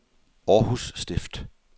Århus Stift